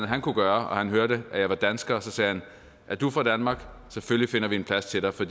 han kunne gøre og han hørte at jeg var dansker sagde han er du fra danmark selvfølgelig finder vi en plads til dig for